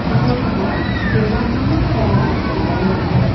photo খনত কেইবাখনো fan দেখিবলে পোৱা--